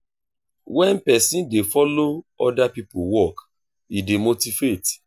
wen person dey follow oda pipo work e dey motivate